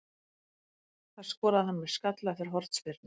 Það skoraði hann með skalla eftir hornspyrnu.